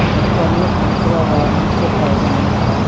ऊपर करिया कुर्तावा बा नीचे पैजामा बा।